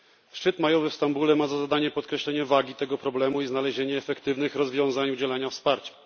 Szczyt majowy w Stambule ma za zadanie podkreślenie wagi tego problemu i znalezienie efektywnych rozwiązań udzielania wsparcia.